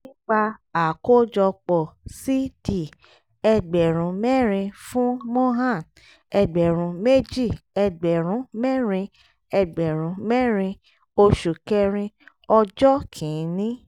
nípa àkójọpọ̀ c/d ẹgbẹ̀rún mẹ́rin fún mohan ẹgbẹ̀rún méjì ẹgbẹ̀rún mẹ́rin ẹgbẹ̀rún mẹ́rin oṣù kẹrin ọjọ́ kìíní